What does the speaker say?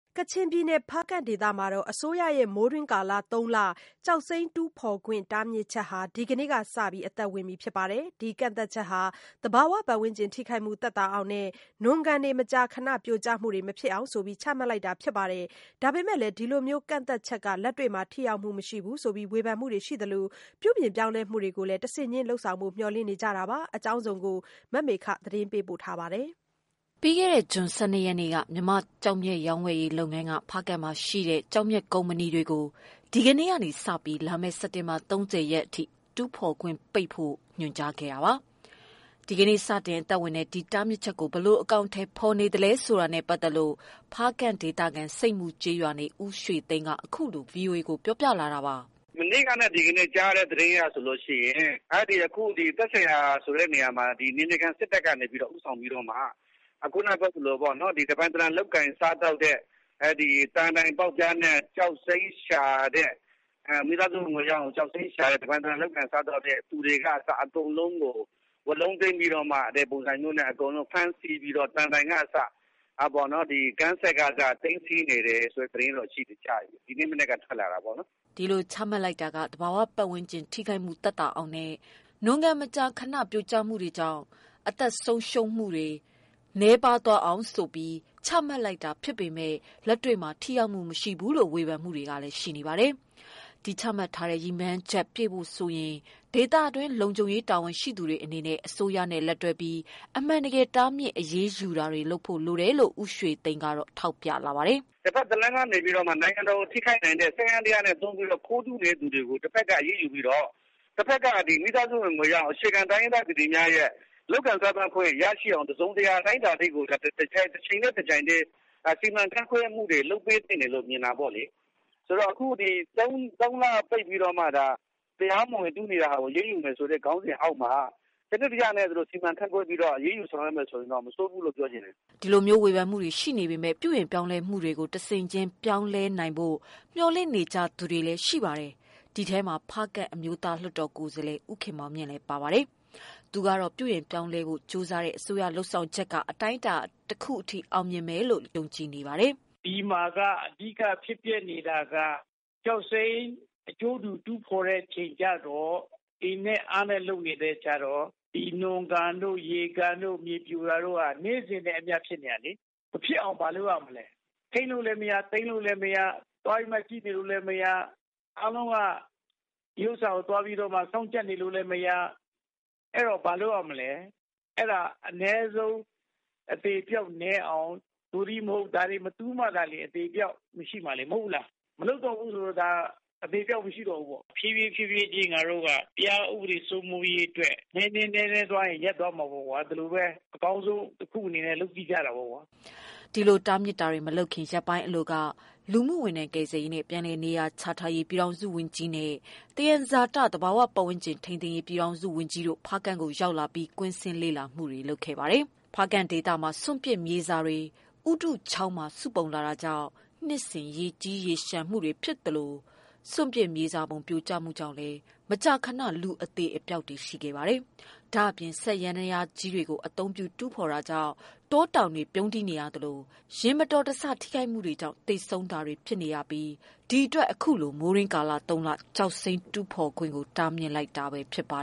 ကချင်ပြည်နယ် ဖားကန့်ဒေသမှာ အစိုးရရဲ့ မိုးတွင်းကာလ သုံးလ ကျောက်စိမ်းတူးဖော်ခွင့် တားမြစ်ချက်ဟာ ဒီကနေ့ကစပြီး အသက် ဝင်ပြီဖြစ်ပါတယ်။ ဒီကန့်သတ်ချက်ဟာ သဘာဝပတ်ဝန်းကျင်ထိခိုက်မှု သက်သာအောင်နဲ့ နွံကန်မကြာခဏပြိုကျမှုတွေ မဖြစ်အောင်ဆိုပြီး ချမှတ်လိုက်တာ ဖြစ်ပါတယ်။ ဒါပေမယ့် ဒီလို ကန့်သတ်ချက်က လက်တွေ့မှာ ထိရောက်မှုမရှိဘူးလို့ ဝေဖန်မှုတွေရှိနေသလို၊ ပြုပြင်ပြောင်းလဲမှုတွေကို တဆင့်ချင်း လုပ်ဆောင်ဖို့ မျှော်လင့်နေကြတာပါ။ ဒီအကြောင်း ဗွီအိုအေ မြန်မာပိုင်း သတင်းထောက် မမေခက ပေးပို့ထားပါတယ်။ ပြီးခဲ့တဲ့ ဇွန်လ ၁၂ရက်နေ့က မြန်မာ့ကျောက်မျက် ရောင်းဝယ်ရေးလုပ်ငန်းက ဖားကန့်မှာရှိတဲ့ ကျောက်မျက်ကုမ္ပဏီ တွေကို ဒီကနေ့ကနေစပြီး လာမယ့် စက်တင်ဘာ ၃၀ရက်ထိ တူးဖော်ခွင့်ပိတ်ဖို့ ညွှန်ကြားခဲ့တာပါ။ ဒီကနေ့စတင် အသက်ဝင်တဲ့ ဒီတားမြစ်ချက်ကို ဘယ်လို အကောင်အထည် ဖော်နေသလဲဆိုတာနဲ့ ပတ်သတ်လို့ ဖားကန့်ဒေသခံ ဆိပ်မူကျေးရွာနေ ဦးရွှေသိန်းက အခုလို ပြောပြလာတာပါ။ “မနေ့ကနဲ့ ဒီကနေ့ကြားရတဲ့သတင်းအရ သက်ဆိုင်ရာဆိုတဲ့နေရာမှာ နယ်မြေခံစစ်တပ်က ဦးဆောင်ပြီး မိသားစုဝင်ငွေရအောင် တပိုင်တနိုင်လုပ်ကိုင်ပြီး ကျောက်စိမ်းရှာတဲ့ သံတိုင် ပေါက်တူးသမားတွေကအစ အကုန်လုံး သိမ်းကျုံး ဖမ်းဆီးနေတယ်လို့သိရတယ်။ ဝါးလုံးသိမ်းဖမ်းပြီး သံတိုင်တွေကအစ သိမ်းဆည်းနေကြတယ် ဆိုတဲ့ သတင်းတော့ကြားတယ် ဒီနေ့မနက်က ထွက်လာတာပေါ့နော်။ ” ဒီလိုချမှတ်လိုက်တာက သဘာဝပတ်ဝန်းကျင် ထိခိုက်မှု သက်သာအောင်နဲ့ နွံကန်မကြာ ခဏပြိုကျမှု တွေမဖြစ်အောင် ၊အသက်ဆုံးရှုံးမှုတွေ နည်းပါးအောင် ဆိုပြီးချမှတ်လိုက်တာဖြစ်ပေမယ့် လက်တွေ့မှာ ထိရောက်မှုမရှိဘူးလို့ ဝေဖန်မှုတွေ ရှိနေပါတယ်။ ဒီချမှတ်ထားသလို ရည်မှန်းချက်ပြည့်ဖို့ဆိုရင် ဒေသတွင်းလုံခြုံရေး တာဝန်ရှိသူတွေအနေနဲ့ အစိုးရနဲ့ လက်တွဲပြီး အမှန်တကယ် တားမြစ်အရေးယူတာ လုပ်ဖို့လိုတယ်လို့ ဦးရွှေသိန်းက ဆက်ပြောပါတယ်။ “တဖက်ကနေ နိုင်ငံတော်ကိုထိခိုက်နိုင်တဲ့စက်ယန္တရားတွေ သုံးပြီးတော့ ခိုးတူးနေတာကို တဖက်က အရေးယူပြီးတော့၊ တဖက်က မိသားစုဝင်ငွေရအောင် အခြေခံတိုင်းရင်းသားတွေရဲ့ လုပ်ကိုင်ခွင့်ရရှိအောင် တစုံတရာအတိုင်းအတာ ထိကို တချိန်တည်း တပြိုင်တည်း စီမံခန့်ခွဲမှုတွေ လုပ်ပေးဖို့ မြင်တာပေါ့လေ။ ဒီ၃လပိတ်ပြီး တရားမဝင်တူးနေတာကို အရေးယူမယ်ဆိုတဲ့ ခေါင်းစဉ်အောက်မှာ စနစ်တကျ စီမံခန့်ခွဲပြီးတော့ အရေးယူမယ်ဆိုရင် တော့မဆိုးဘူးလို့ ပြောချင်ပါတယ်။” ဒီလိုမျိုး ဝေဖန်မှုတွေရှိနေပေမယ့် ပြုပြင်ပြောင်းလဲမှုတွေကို တဆင့်ချင်းပြောင်းလဲနိုင်ဖို့ မျှော်လင့်နေကြသူတွေလည်း ရှိနေပါတယ်။ ဒီထဲမှာ ဖားကန့် အမျိုးသားလွှတ်တော် ကိုယ်စားလှယ် ဦးခင်မောင်မြင့်လဲ ပါပါတယ်။ သူကတော့ ပြုပြင်ပြောင်းလဲဖို့ ကြိုးစားတဲ့ အစိုးရ လုပ်ဆောင်ချက်က အတိုင်းအတာတခုထိ အောင်မြင်မယ်လို့ ယုံကြည် နေပါတယ်။ “ဒီမှာက အဓိက ဖြစ်ပျက်နေတာက ကျောက်စိမ်းအကျိုးတူ တူးဖော်တဲ့ အချိန်ကျတော့ အင်နဲ့အားနဲ့ လုပ်နေတဲ့ အခါကျတော့နွံကန်တို့မြေပြိုတာတို့က နေ့စဉ်နဲ့အမျှ ဖြစ်နေတာလေ၊ မဖြစ်အောင်ဘာ လုပ်ရမလဲ။ ထိန်းလို့လဲမရ၊ သိမ်းလို့လည်းမရ၊ သွားပြီးမှ ကြည့်နေလို့လည်းမရ အားလုံးက ဒါကိုစောင့်ကြည့်လို့လဲမရ၊ အဲတော့ဘာလုပ်ရမလဲ။ အနည်းဆုံး အသေအပျောက်နည်းအောင် ဒါတွေမတူးမှ အသေအပျောက်မရှိမှာ မဟုတ်ဘူးလား။မလုပ်တော့ဘူးဆိုရင် အသေအပျောက်မရှိတော့ဘူးလေ။ ဖြည်းဖြည်းချင်း တရားဥပဒေစိုး မိုးရေးအတွက်နည်းနည်းသွားရင်းနဲ့ ရပ်သွားမှာပေ့ါ ဒီလိုပဲ အကောင်းဆုံးတခုအနေနဲ့ လုပ်ကြည့်ကြတာပေါ့။” ဒီလို တားမြစ်တာမလုပ်ခင် ရက်ပိုင်းအလိုက လူမှုဝန်ထမ်း၊ ကယ်ဆယ်ရေးနဲ့ ပြန်လည်နေရာချထားရေး ပြည်ထောင်စုဝန်ကြီးနဲ့ သယံဇာတ သဘာဝပတ်ဝန်းကျင်ထိန်းသိမ်းရေး ပြည်ထောင်စုဝန်ကြီးတို့ ဖားကန့်ကိုရောက်လာပြီး ကွင်းဆင်း လေ့လာတာတွေ လုပ်ခဲ့ပါတယ်။ ဖားကန့်ဒေသမှာ စွန့်ပစ်မြေစာတွေ ဥရုချောင်းမှာ စုပုံလာတာကြောင့် နှစ်စဉ်ရေကြီးရေလျံ တာတွေဖြစ်သလို၊ စွန့်ပစ်မြေစာပုံ ပြိုကျတာကြောင့် မကြာခဏ လူအသေအပျောက် ရှိနေပါတယ်။ ဒါအပြင် စက်ယန္တရားကြီးတွေကို အသုံးပြုတူးဖော်တာကြောင့် တော၊ တောင်တွေ ပြုန်းတီးနေသလို ယာဉ်မတော်တဆ ထိခိုက်မှုတွေကြောင့် သေဆုံး တာတွေ ရှိနေတာဖြစ်ပြီး ဒီအတွက် အခုလို မိုးတွင်းကာလ သုံးလ ကျောက်စိမ်းတူးဖော်ခွင့် တားမြစ်လိုက်တာဖြစ်ပါ